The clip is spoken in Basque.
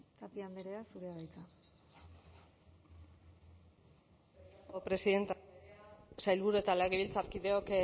tapia andrea zurea da hitza presidentea sailburu eta legebiltzarkideok